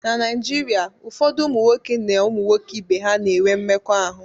na Naijiria, ụfọdụ ụmụ nwoke na ụmụ nwoke ibe ha na-enwe mmekọahụ